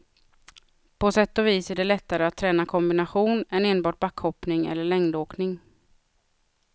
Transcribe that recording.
På sätt och vis är det lättare att träna kombination än enbart backhoppning eller längdåkning.